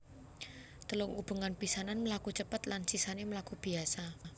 Telung ubengan pisanan mlaku cepet lan sisané mlaku biasa